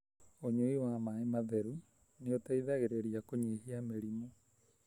ũnyui wa maĩ matheru nĩ ũteithagĩrĩrĩa kũnyihia mĩrimu.